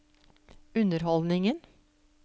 underholdningen